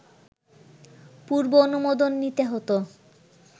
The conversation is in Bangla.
পূর্ব অনুমোদন নিতে হতো